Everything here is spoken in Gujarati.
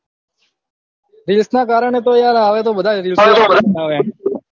reels ના કારણે તો યાર હવે તો બધા